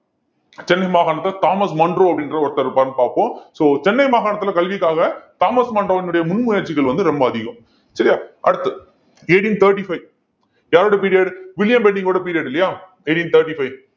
சென்னை மாகாணத்தில Thomas Munro அப்படின்ற ஒருத்தர் இருப்பாருன்னு பாப்போம் so சென்னை மாகாணத்துல கல்விக்காக தாமஸ் மன்றோவினுடைய முன் முயற்சிகள் வந்து ரொம்ப அதிகம் சரியா அடுத்து eighteen thirty-five யாரோட period வில்லியம் பெண்டிங்கோட period இல்லையா eighteen thirty-five